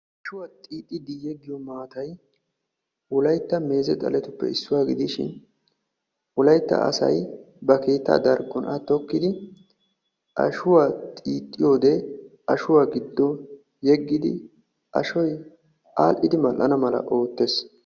Ashshuwaa xiixxidi yeggiyoo maatay wolaytta meeze xaletuppe issuwaa gidishin, wolaytta asay ba keettaa xaphon a tokkidi ashshuwaa xiixxiyoo wode ashshuwaa giddo yeggidi ashoy adhdhidi mal"ana mala oottees.